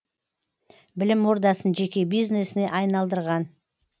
білім ордасын жеке бизнесіне айналдырған